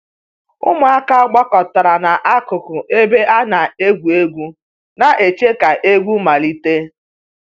Ụmụaka gbakọtara n'akụkụ ebe a na-egwu egwu, na-eche ka egwu malite